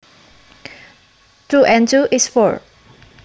Two and two is four